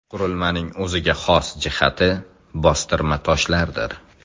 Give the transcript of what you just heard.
Qurilmaning o‘ziga xos jihati bostirma toshlardir.